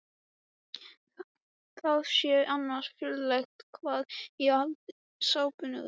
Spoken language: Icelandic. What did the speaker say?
Það sé annars furðulegt hvað hann haldi sápuna út.